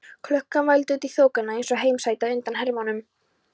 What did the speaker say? Klukkan vældi út í þokuna eins og heimasæta undan hermönnum.